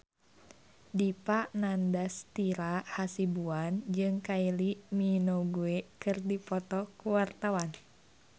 Dipa Nandastyra Hasibuan jeung Kylie Minogue keur dipoto ku wartawan